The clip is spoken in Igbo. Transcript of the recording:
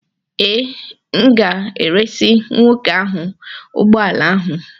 Ee, m ga-eresị nwoke ahụ ụgbọ ala ahụ